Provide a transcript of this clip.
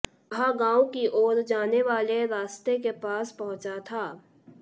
वह गांव की ओर जाने वाले रास्ते के पास पहुंचा था